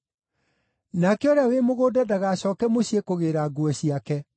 Nake ũrĩa wĩ mũgũnda ndagacooke mũciĩ kũgĩĩra nguo ciake.